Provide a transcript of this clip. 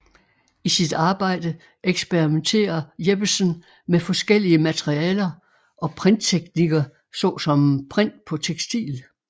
I sit arbejde eksperimenterer Jeppesen med forskellige materialer og printteknikker såsom print på tekstil